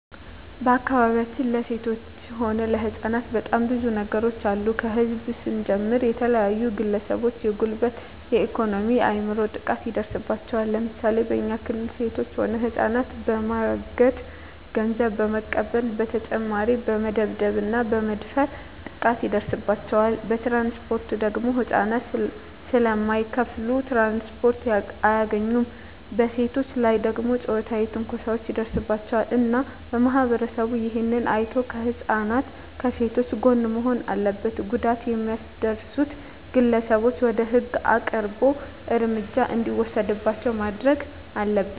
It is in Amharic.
በአካባቢያችን ለሴቶች ሆነ ለህጻናት በጣም ብዙ ነገሮች አሉ ከህዝብ ስንጀምር የተለያዩ ግለሰቦች የጉልበት የኤኮኖሚ የአይምሮ ጥቃት ይደርስባቸዋል ለምሳሌ በኛ ክልል ሴቶች ሆነ ህጻናትን በማገት ገንዘብ በመቀበል በተጨማሪ በመደብደብ እና በመድፈር ጥቃት ይደርስባቸዋል በትራንስፖርት ደግሞ ህጻናት ስለማይከፋሉ ትራንስፖርት አያገኙም በሴቶች ላይ ደግሞ ጾታዊ ትንኮሳዎች ይደርስባቸዋል እና ማህበረሰቡ እሄን አይቶ ከህጻናት ከሴቶች ጎን መሆን አለበት ጉዳት የሚያደርሱት ግለሰቦች ወደ ህግ አቅርቦ እርምጃ እንዲወሰድባቸው ማረግ አለብን